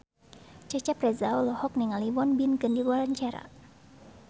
Cecep Reza olohok ningali Won Bin keur diwawancara